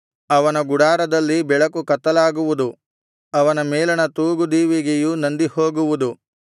ಅವನ ಗುಡಾರದಲ್ಲಿ ಬೆಳಕು ಕತ್ತಲಾಗುವುದು ಅವನ ಮೇಲಣ ತೂಗು ದೀವಿಗೆಯು ನಂದಿಹೋಗುವುದು